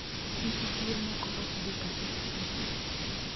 Nyithi kiye moko ok dhi kata skul.